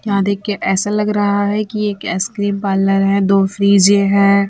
यहाँ देख के ऐसा लग रहा है कि एक आइसक्रीम पार्लर है दो फ्रीजे है।